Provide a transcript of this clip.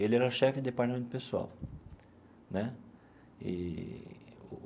Ele era chefe do departamento pessoal né eee.